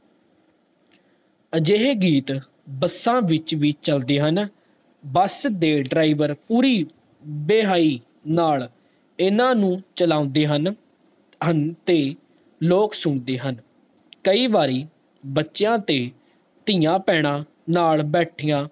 ਬਸ ਦੇ driver ਪੂਰੀ ਵਹਾਈ ਨਾਲ ਇਨਾਨੁ ਚਲਾਂਦੇ ਰਹੇ ਹਨ ਤੇ ਲੋਕ ਸੁਣਦੇ ਹਨ ਕਈ ਵਾਰੀ ਬੱਚਿਆਂ ਦੀ ਤੇ ਤੀਆਂ ਪੈਣਾ ਨਾਲ ਬੈਠੀਆਂ